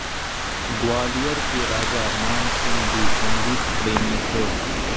ग्वालियर के राजा मानसिंह भी संगीत प्रेमी थे